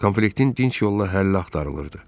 Konfliktin dinc yolla həlli axtarılırdı.